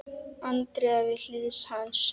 Andrea við hlið hans.